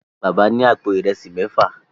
Bàbá ní àpò Ìrẹsí méfà.